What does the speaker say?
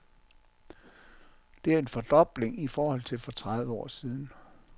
Det er en fordobling i forhold til for tredive år siden.